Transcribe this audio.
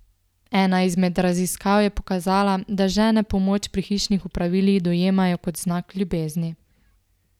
Ena izmed raziskav je pokazala, da žene pomoč pri hišnih opravilih dojemajo kot znak ljubezni.